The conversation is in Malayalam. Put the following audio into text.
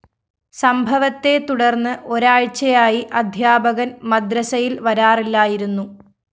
സംഭവത്തെ തുടര്‍ന്ന് ഒരാഴ്ചയായി അധ്യാപകന്‍ മദ്രസയില്‍ വരാറില്ലായിരുന്നു